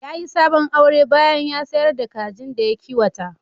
Ya yi sabon aure bayan da ya sayar da kajin da ya kiwata.